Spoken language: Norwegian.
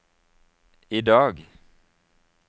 idag